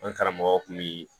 An karamɔgɔ kun bi